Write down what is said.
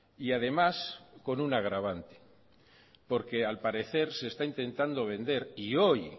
y además con un agravante porque al parece se está intentando vender y hoy